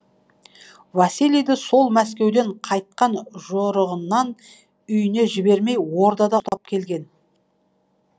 василийді сол мәскеуден қайтқан жорығынан үйіне жібермей ордада келген